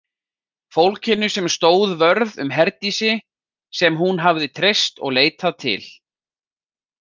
Fólkinu sem stóð vörð um Herdísi, sem hún hafði treyst og leitað til.